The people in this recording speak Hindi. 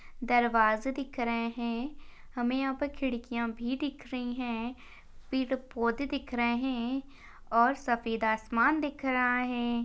दरवाजे दिख रहे है। हमे यहा पर खिड़किया भी दिख रही है। पेड़ पौधे दिख रहे है और सफेद आसमान दिख रहा है।